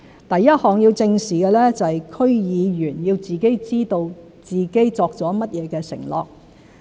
第一項要正視的是區議員要自己知道自己作了甚麼承諾。